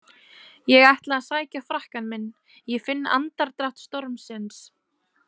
Ég ætla að sækja frakkann minn, ég finn andardrátt stormsins.